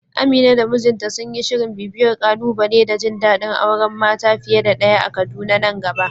Amina da mijinta sun yi shirin bibiyar ƙalubale da jin dadin auren mata fiye da daya a Kaduna nan gaba.